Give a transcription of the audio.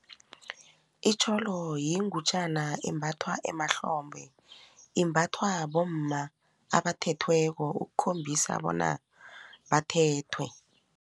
Itjholo yingutjana embathwa emahlombe. Imbathwa bomma abathethweko ukukhombisa bona bathethwe.